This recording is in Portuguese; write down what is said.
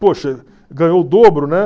Poxa, ganhou o dobro, né?